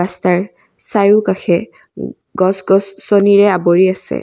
চাৰিওকাষে গ গছ গছনিৰে আবৰি আছে।